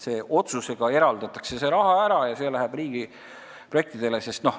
Otsusega eraldatakse see raha, mis läheb riigiprojektidele.